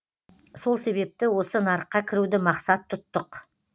сол себепті осы нарыққа кіруді мақсат тұттық